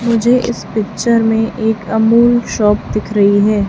मुझे इस पिक्चर में एक अमूल शॉप दिख रही है।